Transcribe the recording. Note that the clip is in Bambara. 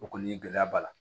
O kɔni ye gɛlɛya b'a la